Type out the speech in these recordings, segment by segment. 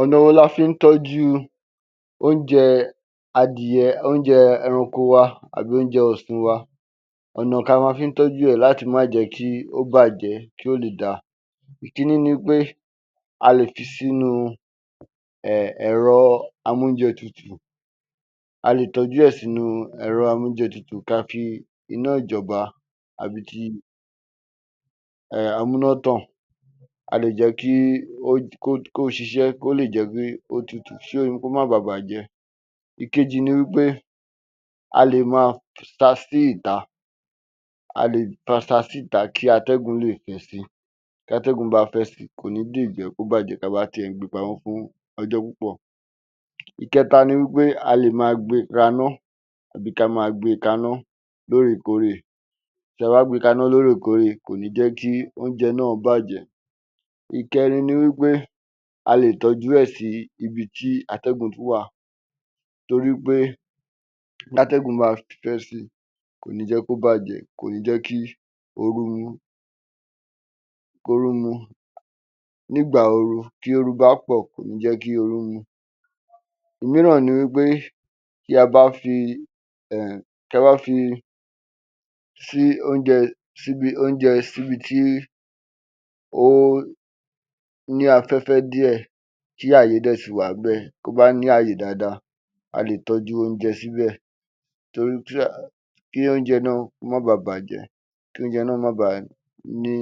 Ọ̀nà wo la fín tọ́júu oúnje adìyẹ, oúnjẹ ẹrankọ wa àbí oúnjẹ ọ̀sin wa, ọ̀nà ka ma fín tọ́jú ẹ̀ láti má jẹ̀ kíí ó bàjẹ́, kí ó lè da. Ìkíní ni wí pé a lè fi sínu ẹẹ̀ ẹ̀rọ ámóúnjẹtutù, a lè tọ́jú ẹ̀ sínu ẹ̀rọ ámóúnjẹtutù ka fi iná ìjọba àbí ti um amúnátàn, a lè jẹ́ kí ó, kí ó ṣiṣẹ́, kó lè jẹ́ kí ó tutù kí ó má ba bàjẹ́. Ìkejì ni wí pé a lè ma sa sí ìta, a lè ma sa síta kí atẹ́gùn lè fẹ́ si, tí atẹ́gùn bá fẹ́ si kò ní lè jẹ́ kó bàjẹ́ ka bá ti ẹ̀ ń gbe pamọ́ fún ọjọ́ púpọ̀. Ìkẹta ni wí pé a lè ma gbe raná àbí ká ma gbe kaná lóòrèkórè, tí a bá gbe kaná lóòrèkórè kò ní jẹ́ kí oúnjẹ náà bàjẹ́. Ìkẹrin ni wí pé a lè tọ́jú ẹ̀ sí ibití atẹ́gùn wà torí pé tátẹ́gún bá fẹ́ si kò ní jẹ́ kó bàjẹ́, kò ní jẹ́ kí oru, kóruú mú nígbà, oru tóru bá pọ̀ kò ní jẹ́ kí oru mú. Ìmíràn ni wí pé tí a bá fi[um], tí a bá fi sí oúnjẹ síbi oúnjẹ síbi tí ó ní afẹ́fẹ́ díẹ̀, tí àyè dẹ́ ṣì wà níbẹ̀, kó bá ní àyè dáadáa a lè tọ́júu oúnjẹ síbẹ̀ torí tí a, kí oúnjẹ náà má ba bàjẹ́, kí oúnjẹ náà má ba ní,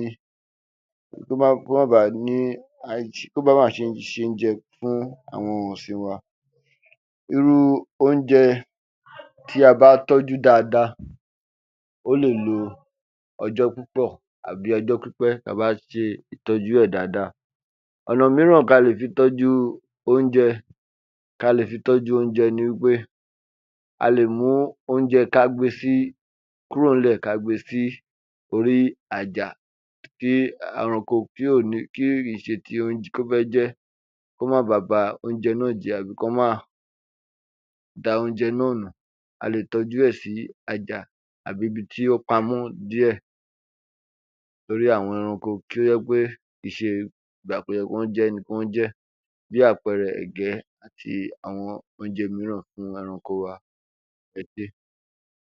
kó má ba ní aisi, kó má ba à ṣén jẹ fún àwọn ohun ọ̀sìn wa. Irúu oúnjẹ tí a bá tọ́jú dáadáa ó lè lo ọjọ́ púpọ̀ àbí ọjọ́ pípẹ́ ta bá ṣe ìtọ́jú e dáadáa. Ọ̀nà míràn ka lè fi tọ́júu oúnjẹ, ka lè fi tọ́júu oúnjẹ ni wí pé a lè mu oúnjẹ ká gbe sí, ká gbe kúrò ń lẹ̀ ká gbe sí orí àjà tí ẹranko tí ò ní, kí kì ń ṣe ti ó fẹ́ jẹ ẹ́ kó má ba ba oúnjẹ náà jẹ́ àbí kọ́ má da oúnjẹ náà nù, a lè tọ́jú ẹ̀ sí àjà àbí ibití ó pamọ́ díẹ̀ torí àwọn ẹranko kí ó jẹ́ pé ìṣe ìgbà kó yẹ kí wọ́n jẹ ẹ́ ni kí wọ́n jẹ ẹ́. Bí àpẹẹrẹ, ẹ̀gẹ́ àti àwọn oúnjẹ míràn fún ẹranko wa, ẹ ṣé.